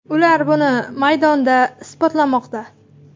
Ular buni maydonda isbotlamoqda.